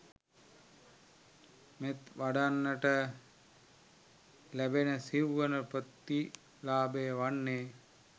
මෙත් වඩන්නන්ට ලැබෙන සිව්වන ප්‍රතිලාභය වන්නේ